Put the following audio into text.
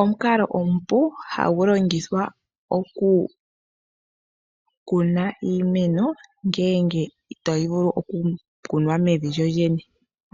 Omukalo omupu hagu longitha okukuna iimeno ngenge itayi vulu okukunwa mevi lyolyene